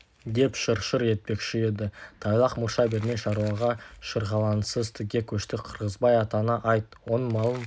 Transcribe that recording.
деп шыр-шыр етпекші еді тайлақ мұрша бермей шаруаға шырғалаңсыз тіке көшті қырғызбай атаңа айт оның малын